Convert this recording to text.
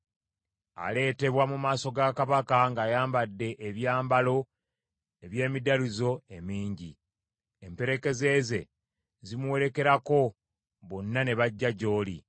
Aleetebwa mu maaso ga kabaka ng’ayambadde ebyambalo eby’emidalizo emingi. Emperekeze ze zimuwerekerako; bonna ne bajja gy’oli.